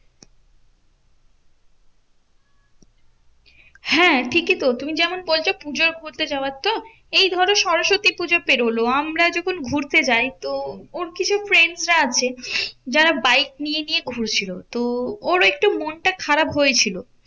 হ্যাঁ ঠিকই তো তুমি যেমন বলছো পুজোয় ঘুরতে যাওয়ার তো? এই ধরো সরস্বতী পুজো পেরোলো আমরা যখন ঘুরতে যাই, তো ওর কিছু friend রা আছে যারা বাইক নিয়ে নিয়ে ঘুরছিল। তো ওরও একটু মনটা খারাপ হয়েছিল।